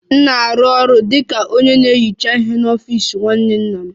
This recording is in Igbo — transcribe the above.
M na-arụ ọrụ dị ka onye na-ehicha ihe n'ọfịs nwanne nna m